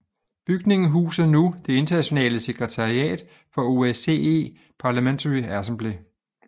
Bygningen huser nu det internationale sekretariat for OSCE Parliamentary Assembly